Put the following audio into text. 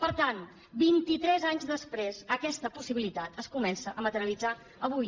per tant vintitres anys després aquesta possibilitat es comença a materialitzar avui